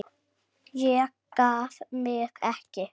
Ég gaf mig ekki!